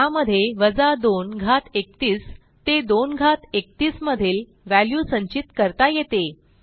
त्यामध्ये वजा 2 घात 31 ते 2 घात 31 मधील व्हॅल्यू संचित करता येते